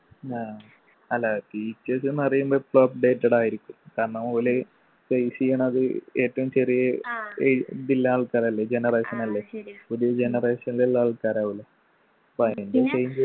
ആ അല്ല teachers ന്ന് പറയുമ്പോ എപ്പോം updated ആയിരിക്കു കാരണം ഓല് face ചെയ്യണത് ഏറ്റവും ചെറിയെ എ ഇതില്ലേ ആൾക്കാരല്ലേ genenration അല്ലെ ഒരു generation ൽ ഉള്ള ആൾക്കാരാവൂലെ പ്പോ അയിൻ്റെ change